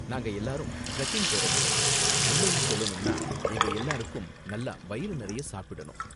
நாங்க எல்லாரும் டிரெக்கிங் போறவங்க, உண்மையில் சொல்லணும்னா எங்க எல்லாருக்கும் நல்லா வயிறு நிறைய சாப்பிடனும்.